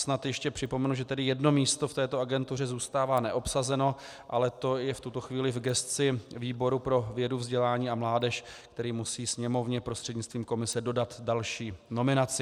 Snad ještě připomenu, že tedy jedno místo v této agentuře zůstává neobsazeno, ale to je v tuto chvíli v gesci výboru pro vědu, vzdělání a mládež, který musí Sněmovně prostřednictvím komise dodat další nominaci.